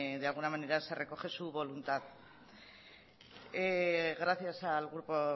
de alguna manera se recoge su voluntad gracias al grupo